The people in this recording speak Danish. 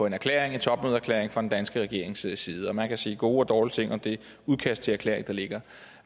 en erklæring en topmødeerklæring fra den danske regerings side man kan sige gode og dårlige ting om det udkast til erklæring der ligger